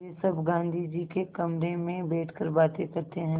वे सब गाँधी जी के कमरे में बैठकर बातें करते हैं